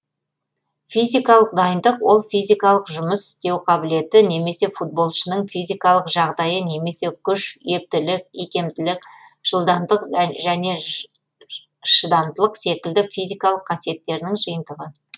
физикалық дайындық ол физикалық жұмыс істеу қабілеті немесе футболшының физикалық жағдайы немесе күш ептілік икемділік жылдамдық және шыдамдылық секілді физикалық қасиеттердің жиынтығы